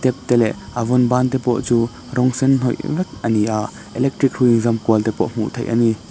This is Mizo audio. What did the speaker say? te leh a vawn ban te pawh chu rawng sen hnawih vek a ni a electric hrui inzam kual te pawh hmuh theih a ni.